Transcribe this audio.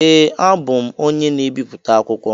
Ee, abụ m onye na-ebipụta akwụkwọ.